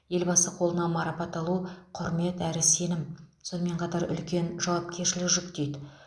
елбасы қолынан марапат алу құрмет әрі сенім сонымен қатар үлкен жауапкершілік жүктейді